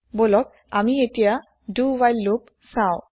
বলন আমি এতিয়া do while loop চাও